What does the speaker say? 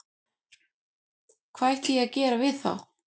Hvað ætti ég að gera við þá?